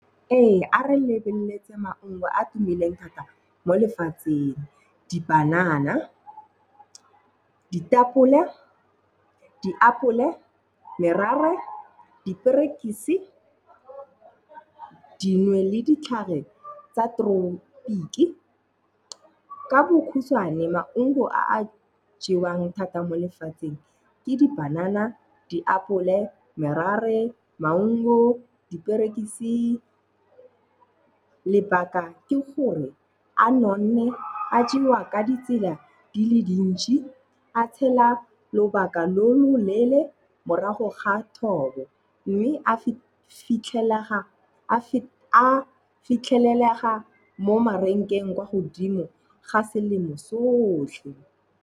Ee a re lebeletse maungo a tumileng thata mo lefatsheng. Di-banana, ditapole, diapole, merare, diperekisi dinwe le ditlhare tsa tropiki. Ka bokhutshwane maungo a jewang thata mo lefatsheng ke di-banana, diapole merare, maungo, diperekisi, lebaka ke gore a nonne, a jewa ka ditsela di le dintsi, a tshela lobaka lo loleele morago ga thobo mme a fitlhelelega mo marenkeng kwa godimo ga selemo sotlhe.